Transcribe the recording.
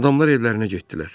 Adamlar evlərinə getdilər.